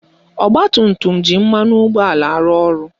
Ọgbatumtum ji mmanụ ụgbọala arụ ọrụ